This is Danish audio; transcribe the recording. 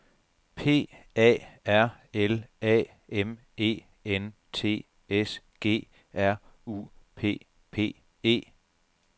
P A R L A M E N T S G R U P P E